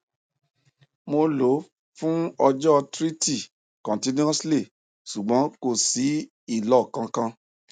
mo lò ó fún ọjọ thrity continuously ṣùgbọn kò sí ìlò kankan